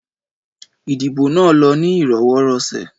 Ìdìbò nà lọ ni ìrọwọ́ rọsẹ̀